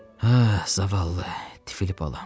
Hə, zavallı, tifili balam.